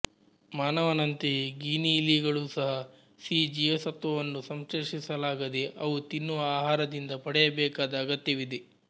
ಮಾನವನಂತೆಯೇ ಗಿನಿಯಿಲಿಗಳೂ ಸಹ ಸಿ ಜೀವಸತ್ತ್ವವನ್ನು ಸಂಶ್ಲೇಷಿಸಲಾಗದೆ ಅವು ತಿನ್ನುವ ಆಹಾರದಿಂದ ಪಡೆಯಬೇಕಾದ ಅಗತ್ಯವಿದೆ